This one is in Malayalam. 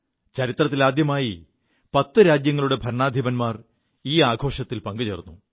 ചരിത്രത്തിൽ ആദ്യമായി 10 രാജ്യങ്ങളുടെ ഭരണാധിപന്മാർ ഈ ആഘോഷത്തിൽ പങ്കുചേർു